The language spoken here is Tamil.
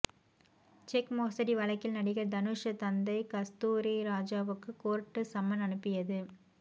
செக் மோசடி வழக்கில் நடிகர் தனுஷ் தந்தை கஸ்தூரிராஜாவுக்கு கோர்ட்டு சம்மன் அனுப்பியது